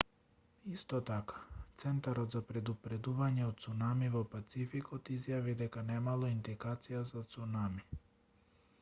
исто така центарот за предупредување од цунами во пацификот изјави дека немало индикација за цунами